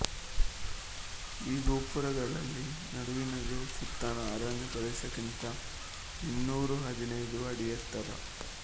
ಈ ಗೋಪುರಗಳಲ್ಲಿ ನಡುವಿನದು ಸುತ್ತಣ ಅರಣ್ಯಪ್ರದೇಶಕ್ಕಿಂತ ಇನ್ನೂರಹದಿನೈದು ಅಡಿ ಎತ್ತರ